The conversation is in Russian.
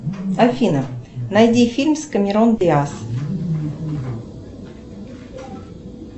афина найди фильм с кемерон диас